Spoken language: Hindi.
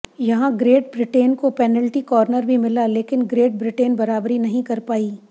यहां ग्रेट ब्रिटेन को पेनल्टी कॉर्नर भी मिला लेकिन ग्रेट ब्रिटेन बराबरी नहीं कर पाई